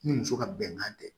Ni muso ka bɛnkan tɛ